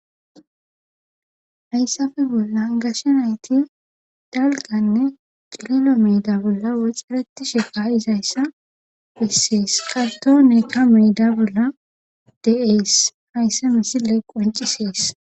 hayssafe bolla gashe nayti dalganne qililo meda bolla waxereti shefa7is hayssa hissees qalto neka meeda bolla de7ees hayssa misile qoncisees